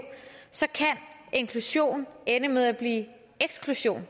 så kan inklusion ende med at blive eksklusion